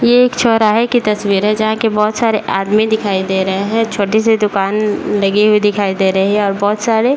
ये एक चौराहे की तस्वीर है जहाँ की बहुत सारे आदमी दिखाई दे रही है छोटी सी दुकान लगी हुई दिखाई दे रही है और बहुत सारे --